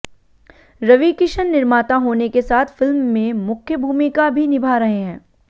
रवि किशन निर्माता होने के साथ फिल्म में मुख्य भूमिका भी निभा रहे हैं